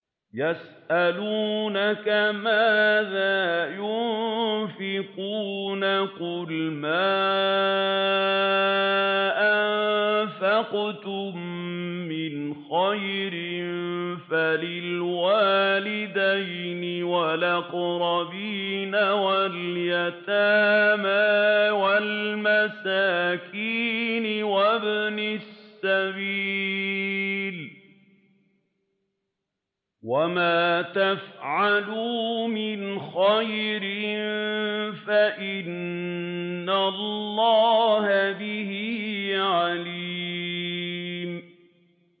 يَسْأَلُونَكَ مَاذَا يُنفِقُونَ ۖ قُلْ مَا أَنفَقْتُم مِّنْ خَيْرٍ فَلِلْوَالِدَيْنِ وَالْأَقْرَبِينَ وَالْيَتَامَىٰ وَالْمَسَاكِينِ وَابْنِ السَّبِيلِ ۗ وَمَا تَفْعَلُوا مِنْ خَيْرٍ فَإِنَّ اللَّهَ بِهِ عَلِيمٌ